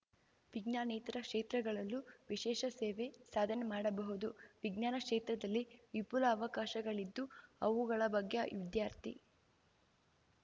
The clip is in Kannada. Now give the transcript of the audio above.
ವಿಜ್ಞಾನೇತರ ಕ್ಷೇತ್ರಗಳಲ್ಲೂ ವಿಶೇಷ ಸೇವೆ ಸಾಧನೆ ಮಾಡಬಹುದು ವಿಜ್ಞಾನ ಕ್ಷೇತ್ರದಲ್ಲಿ ವಿಫುಲ ಅವಕಾಶಗಳಿದ್ದು ಅವುಗಳ ಬಗ್ಗೆ ವಿದ್ಯಾರ್ಥಿ